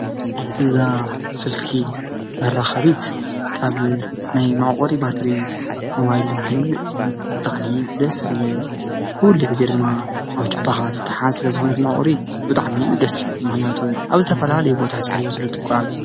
እዛ ስልኪ መራከቢት ካብ ናይ መዕቆሪ ባትሪ ሞባይል እንትንመልእ ደስ ዝብል ኩሉ ግዜ ድማ ኣብ ጁባካ ዝታሓዝ እቲ መዕቆሪ ባትሪ ስለ ዝኾነት ድማኒ ብጣዕሚ እዩ ደስ ዝብል፡፡ ምክንያቱ ኣብ ዝተፈላለዩ ቦታ ሒዝካዮ ስለ እትጓዓዝ፡፡